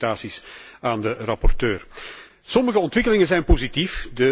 Mijn felicitaties aan de rapporteur. Sommige ontwikkelingen zijn positief.